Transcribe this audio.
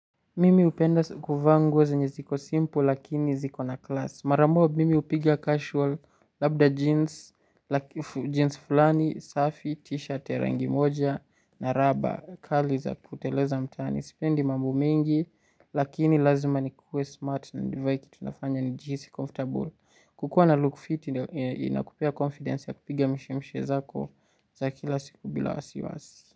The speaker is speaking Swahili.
Mimi hupenda kuvaa nguo zenye ziko simple lakini ziko na klasi. Maramoja mimi hupigia casual, labda jeans, jeans fulani, safi, t-shirt, rangi moja, na raba. Kali za kuteleza mtaani. Sipendi mambo mengi lakini lazima ni kuwe smart na nivae kitu nafanya ni jihisi comfortable. Kukua na look fit ina kupea confidence ya kupiga mishemishe zako za kila siku bila wasiwasi.